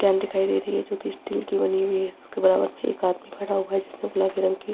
एक कैन दिखाई दे रही है जो की स्टील की बनी हुई है उसके बगल में एक आदमी खड़ा हुआ है जिसने गुलाबी रंग की--